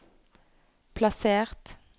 plassert